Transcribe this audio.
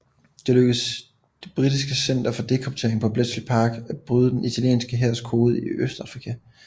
Det lykkedes det britiske center for dekryptering på Bletchley Park at bryde den italienske hærs kode i Østafrika